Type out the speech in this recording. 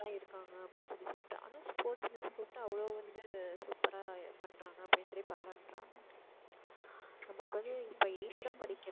இருக்காங்க அப்படின்னு சொல்லி சொல்லிட்டாங்க ஆனா sports miss கூப்ட்டா அவ்ளோ வந்து super ரா பன்றாங்க அப்படின்னு சொல்லிட்டு பாரட்டுராங்க நமக்கு வந்து இப்ப eighth தான் படிக்கிறா.